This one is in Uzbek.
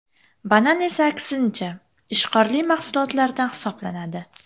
Banan esa aksincha, ishqorli mahsulotlardan hisoblanadi.